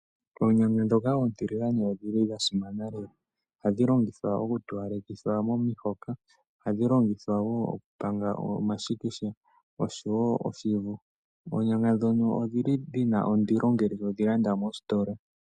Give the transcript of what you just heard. Oonyanga ndhono oontiligane odhili dha simana lela, ohadhi longithwa okutowalekitha momihoka, ohadhi longithwa woo okupanga omashikisha oshowo oshivu. Oonyanga ndhono odhili dhina ondili ngele todhi landa mositola.